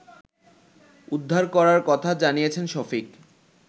উদ্ধার করার কথা জানিয়েছেন শফিক